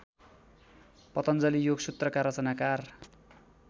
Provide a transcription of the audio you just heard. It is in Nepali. पतञ्जलि योगसूत्रका रचनाकार